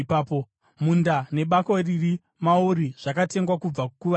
Munda nebako riri mauri zvakatengwa kubva kuvaHiti.”